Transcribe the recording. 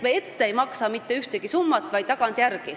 Me ei maksa ette mitte ühtegi summat, vaid maksame tagantjärele.